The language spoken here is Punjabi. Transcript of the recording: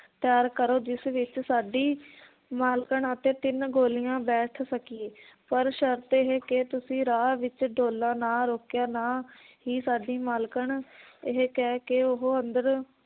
ਤਿਆਰ ਕਰੋ ਜਿਸ ਵਿਚ ਸਾਡੀ ਮਾਲਕਣ ਅਤੇ ਤਿੰਨ ਗੋਲੀਆਂ ਬੈਠ ਸਕੀਏ ਪਰ ਸ਼ਰਤ ਇਹ ਕਿ ਤੁਸੀਂ ਰਾਹ ਵਿਚ ਡੋਲਾ ਨਾ ਰੋਕਿਓ ਨਾ ਹੀ ਸਾਡੀ ਮਾਲਕਣ ਇਹ ਕਹਿ ਕੇ ਉਹ ਅੰਦਰ